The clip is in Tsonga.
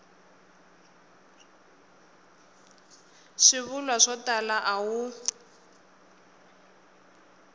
swivulwa swo tala a wu